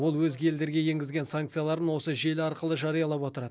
ол өзге елдерге енгізген санкцияларын осы желі арқылы жариялап отырады